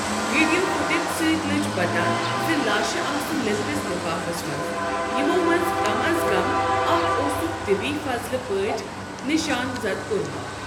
Video footage سۭتۍ لٔج پتہ زِ لاشہٕ آسہٕ لیٚدرِس لپھافس منٛز، یِمَو منٛز کم از کم اکھ اوسُکھ طبی فضلہ پٲٹھۍ نشان زد کوٚرمُت۔